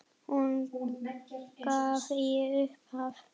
Hún gaf í upphafi